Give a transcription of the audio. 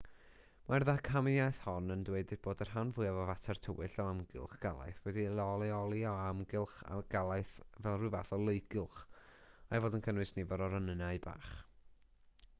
mae'r ddamcaniaeth hon yn dweud bod y rhan fwyaf o fater tywyll o amgylch galaeth wedi'i leoli o amgylch galaeth fel rhyw fath o leugylch a'i fod yn cynnwys nifer o ronynnau bach